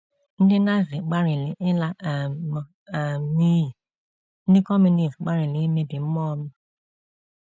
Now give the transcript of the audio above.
Ndị Nazi gbalịrị ịla um m um n'iyi; ndị Kọmunist gbalịrị imebi mmụọ m.